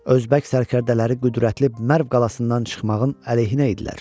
Özbək sərdələri qüvvətli Mərv qalasından çıxmağın əleyhinə idilər.